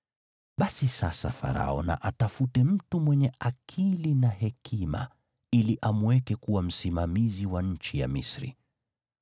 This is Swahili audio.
“Basi sasa Farao na atafute mtu mwenye akili na hekima ili amweke kuwa msimamizi wa nchi ya Misri.